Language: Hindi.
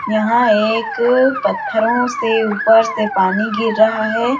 यहाँ एक पत्थरो से ऊपर से पानी गिर रहा है ।